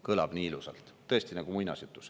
Kõlab nii ilusalt, tõesti, nagu muinasjutus.